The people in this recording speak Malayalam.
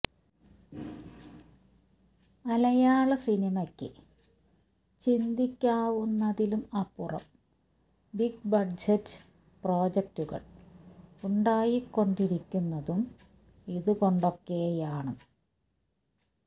മലയാള സിനിമയ്ക്ക് ചിന്തിക്കാവുന്നതിലും അപ്പുറം ബിഗ് ബഡ്ജറ്റ് പ്രോജക്ടുകൾ ഉണ്ടായിക്കൊണ്ടിരിക്കുന്നതും ഇതുകൊണ്ടൊക്കെയാണ്